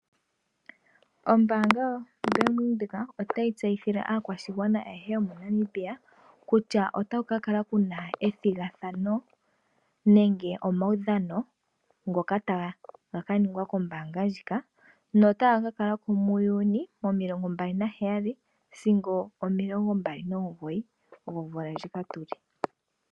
Ombaanga yo Bank Windhoek otayi tseyithile aakwashigwana ayehe moNamibia kutya otaku ka kala kuna ethigathano momawudhano. Ngoka taga ka ningwa kombaanga ndjika . Taga ka kala ko mu Juni okuza nomilongo mbali naheyali sigo omilongo mbali nomugoyi gomvula ndjika tuli.